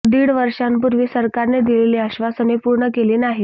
दीड वर्षांपूर्वी सरकारने दिलेली आश्वासने पूर्ण केली नाहीत